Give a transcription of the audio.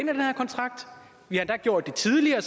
den her kontrakt vi har endda gjort det tidligere